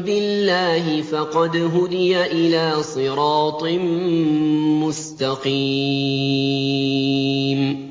بِاللَّهِ فَقَدْ هُدِيَ إِلَىٰ صِرَاطٍ مُّسْتَقِيمٍ